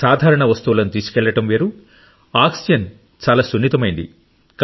సాధారణ వస్తువులను తీసుకెళ్లడం వేరు ఆక్సిజన్ చాలా సున్నితమైంది